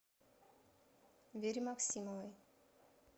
вере максимовой